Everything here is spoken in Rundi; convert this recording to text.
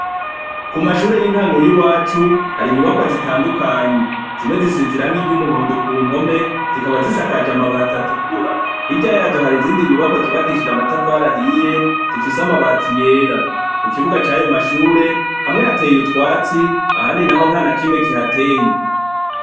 Ku mashure y'intango y'iwacu, hari inyubakwa zitandukanye. Zimwe zisize irangi ry'umuhondo ku mpome zikaba zisakaje amabati atukura. Hirya yazo hari izindi nyubakwa zubakishije amatafari ahiye zifise amabati yera, ku kibuga c'ayo mashure, hamwe hateye utwatsi ahandi naho ntana kimwe kihateye.